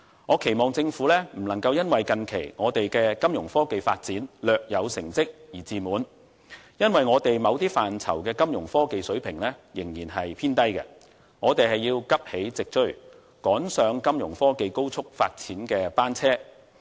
我希望政府不要因為近期我們的金融科技發展略有成績便感到自滿，因為我們某些範疇的金融科技水平仍然偏低，我們要急起直追，趕上金融科技高速發展的列車。